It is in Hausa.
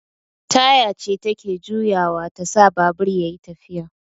Taya ce take juyawa tasa babur yayi tafiya